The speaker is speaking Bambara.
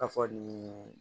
A fɔ nin